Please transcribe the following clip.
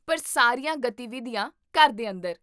ਪਰ ਸਾਰੀਆਂ ਗਤੀਵਿਧੀਆਂ ਘਰ ਦੇ ਅੰਦਰ